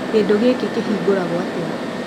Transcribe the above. Kĩndũ gĩkĩ kĩhingũragwo atĩa?